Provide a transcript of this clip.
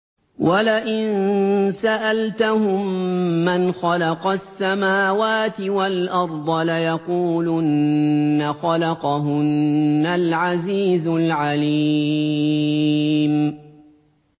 وَلَئِن سَأَلْتَهُم مَّنْ خَلَقَ السَّمَاوَاتِ وَالْأَرْضَ لَيَقُولُنَّ خَلَقَهُنَّ الْعَزِيزُ الْعَلِيمُ